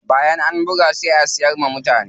Bayan an buga sai a siyar wa mutane.